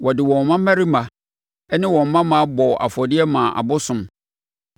Wɔde wɔn mmammarima ne wɔn mmammaa bɔɔ afɔdeɛ maa abosom.